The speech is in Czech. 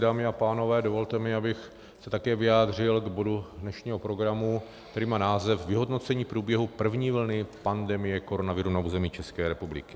Dámy a pánové, dovolte mi, abych se také vyjádřil k bodu dnešního programu, který má název Vyhodnocení průběhu první vlny pandemie koronaviru na území České republiky.